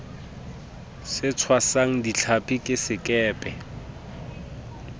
se tshwasang dihlapi ke sekepe